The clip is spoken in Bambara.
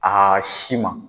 Aa si ma.